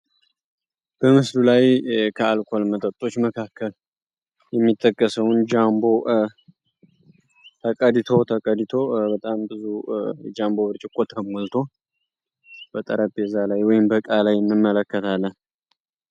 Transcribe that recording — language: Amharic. በምስዱ ላይ ከአልኮል መጠጦች መካከል የሚተከሰውን ጃምቦ ተቀዲቶ በጣም ብዙ ጃንቦ ብርጭቆ ተሙልቶ በጠረብ የዛ ላይ ወይም በቃላይ እንመለከታለን።